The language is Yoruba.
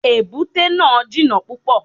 Èbúté náà jìnà púpọ̀.